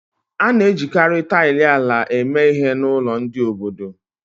A na-ejikarị taịlị ala eme ihe n'ụlọ ndị obodo